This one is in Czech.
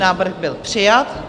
Návrh byl přijat.